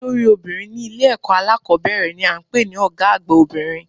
Olórí obìnrin ní Ilé èkó alákòbéèrè ni à ń pè ní Ògá àgbà obìnrin